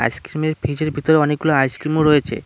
আইসক্রিমের ফ্রিজের ভিতরে অনেকগুলো আইসক্রিমও রয়েছে।